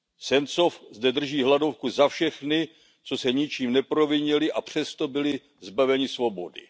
Sencov zde drží hladovku za všechny, co se ničím neprovinili a přesto byli zbaveni svobody.